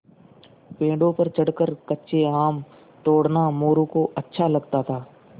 पेड़ों पर चढ़कर कच्चे आम तोड़ना मोरू को अच्छा लगता था